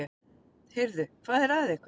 Ónefndir menn: Heyrðu, hvað er að ykkur?